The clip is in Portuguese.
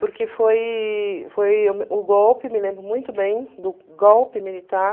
Porque foi foi o o golpe, me lembro muito bem, do golpe militar...